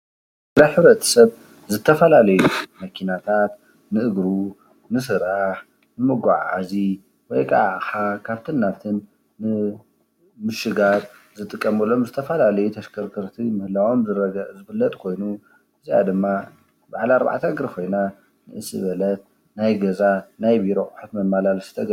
ንሕብረተሰብ ንዝተፈላለዩ መከናታት ንእግሩ ፣ ንስራሕ፣ ንመጓዓዓዚ ወይ ከአ አቅሓ ካብቲን ናብቲን ንምሽጋር ዝጥቀምሎም ዝተፈላለዩ ተሽከርከርቲ ምህላዎም ዝፍለጥ ኮይኑ፤ እዚአ ድማ በዓል አርባዕተ እግሪ ኮይና ንእስ ዝበለት ናይ ገዛ፣ ናይ ቢሮ አቑሑ መመላለሲት፡፡